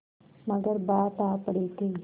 मगर बात आ पड़ी थी